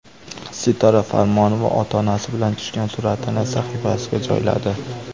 Sitora Farmonova ota-onasi bilan tushgan suratini sahifasiga joyladi.